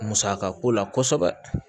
Musaka ko la kosɛbɛ